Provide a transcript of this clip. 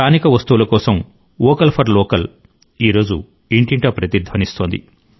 స్థానిక వస్తువుల కోసం స్వరం వోకల్ ఫర్ లోకల్ ఈ రోజు ఇంటింటా ప్రతిధ్వనిస్తోంది